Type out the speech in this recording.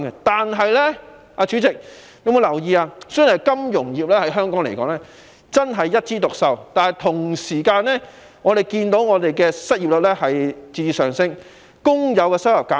代理主席，雖然金融業在香港一枝獨秀，但我們同時亦看到失業率在節節上升，工友收入減少。